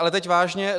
Ale teď vážně.